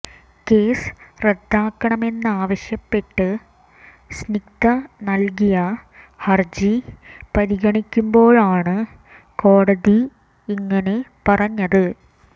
case റദ്ദാക്കണമെന്നാവശ്യപ്പെട്ട് സ്നിഗ്ധ നല്കിയ ഹര്ജി പരിഗണിക്കുമ്പോഴാണ് കോടതി ഇങ്ങനെ പറഞ്ഞത്